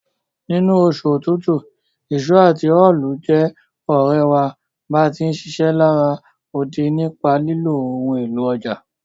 Nínú osù otútù, ìso àti óólù je òrẹ̀ wa bá ti ń ṣiṣẹ́ lará odi nípa lílo ohun élò ọjà.